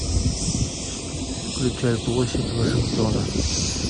включай площадь вашингтона